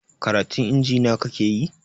Karatun injiniya kakeyi?